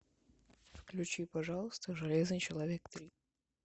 включи пожалуйста железный человек три